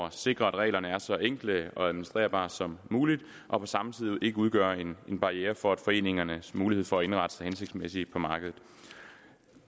at sikre at reglerne er så enkle og administrerbare som muligt og på samme tid ikke udgør en barriere for foreningernes mulighed for at indrette sig hensigtsmæssigt på markedet